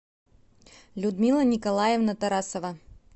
людмила николаевна тарасова